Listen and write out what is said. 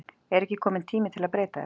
Er ekki kominn tími að breyta þessu?